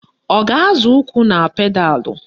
Ọ ga-azọ ụkwụ na pedalụ?